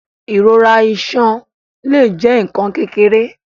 Ìrora iṣan le jẹ nkan kékeré.